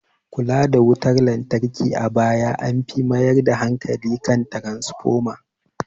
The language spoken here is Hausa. Kula da wutar lantarki a baya an fi mayar da hankali kan tranafoma